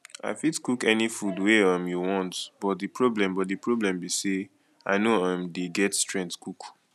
i fit cook any food wey um you want but the problem but the problem be say i no um dey get strength cook